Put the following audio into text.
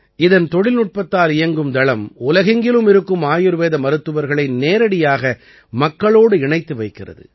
இதன் தொழில்நுட்பத்தால் இயங்கும் தளம் உலகெங்கிலும் இருக்கும் ஆயுர்வேத மருத்துவர்களை நேரடியாக மக்களோடு இணைத்து வைக்கிறது